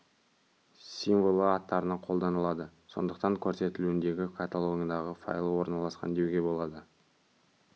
символы аттарына қолданылады сондықтан көрсетілуіндегі каталогындағы файлы орналасқан деуге болады